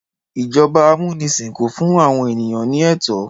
Ijọba amunisin kò fún àwọn ènìyàn ní ètò